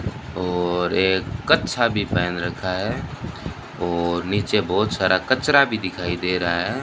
और एक कच्छा भी पहन रखा है और नीचे बहोत सारा कचरा भी दिखाई दे रहा है।